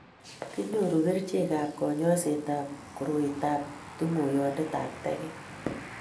kikenyoru kerichekab kanyoisetab koroitab tunguyondetab teket.